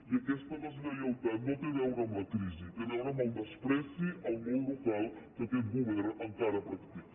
i aquesta deslleialtat no té a veure amb la crisi té a veure amb el menyspreu al món local que aquest govern encara practica